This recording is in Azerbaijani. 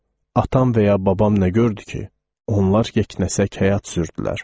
Atam və ya babam nə gördü ki, onlar yeknəsək həyat sürdülər.